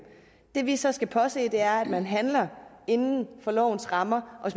det vi så skal påse er at man handler inden for lovens rammer og